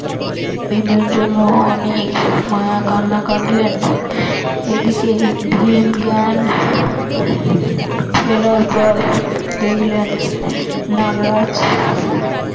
ভীমের জন্য অনেক মায়া কান্না কাঁদলেন এদিকে ভীম জ্ঞান ফেরার পর দেখলেন নাগরাজ